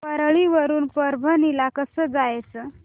परळी वरून परभणी ला कसं जायचं